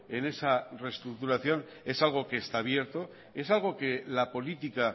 en esa reestructuración es algo que está abierto es algo que la política